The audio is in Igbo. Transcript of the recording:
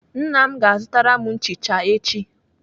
Nna m ga-azụtara m nchicha echi.